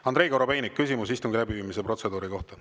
Andrei Korobeinik, küsimus istungi läbiviimise protseduuri kohta.